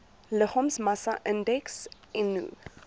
liggaamsmassa indeks eno